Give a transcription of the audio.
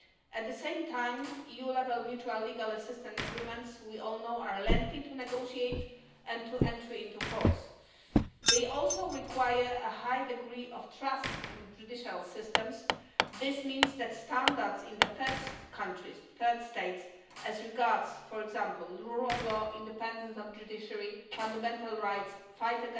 At the same time, EU level mutual legal assistance agreements, as we all know, are lengthy to negotiate and to enter into force. They also require a high degree of trust in judicial systems. This means that standards in third countries, third states, as regards, for example, the rule of law, independence of the judiciary, fundamental rights, the fight